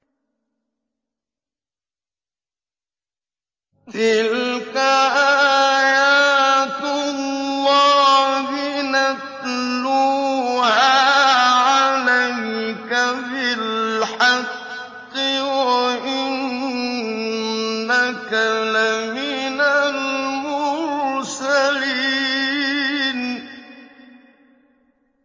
تِلْكَ آيَاتُ اللَّهِ نَتْلُوهَا عَلَيْكَ بِالْحَقِّ ۚ وَإِنَّكَ لَمِنَ الْمُرْسَلِينَ